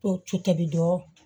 To cobi dɔɔni